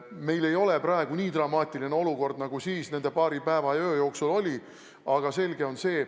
Meil ei ole praegu nii dramaatiline olukord, nagu siis nende paari päeva ja öö jooksul oli.